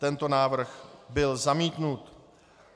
Tento návrh byl zamítnut.